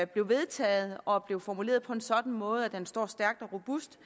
blev vedtaget og at blev formuleret på en sådan måde at den står stærkt og robust